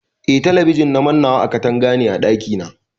Eh mannani katanga ne a ɗaki na.